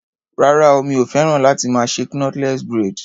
Rárá o, mi ò féràn láti más ṣe knotless braid.